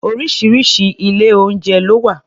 Oríṣiríṣi ilé-oúnjẹ ló wà